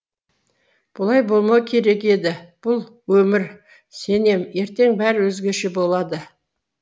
бұлай болмау керек еді бұл өмір сенем ертең бәрі өзгеше болады